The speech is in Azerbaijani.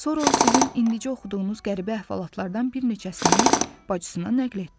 Sonra o sizin indicə oxuduğunuz qəribə əhvalatlardan bir neçəsini bacısına nəql etdi.